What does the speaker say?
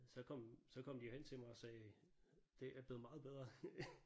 Så kom så kom de jo hen til mig og sagde det er blevet meget bedre